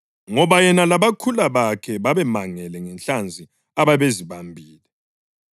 Ngoba yena labakhula bakhe babemangele ngenhlanzi ababezibambile,